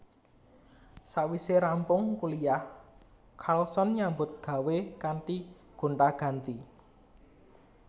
Sawise rampung kuliyah Carlson nyambut gawé kanthi gonta ganti